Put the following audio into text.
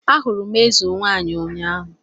Ahụrụ m eze nwaanyị ụnyahụ